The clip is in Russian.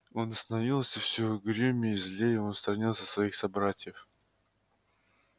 он становился всё угрюмее злее он сторонился своих собратьев